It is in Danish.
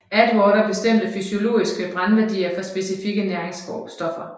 Atwater bestemte fysiologiske brændværdier for specikke næringsstoffer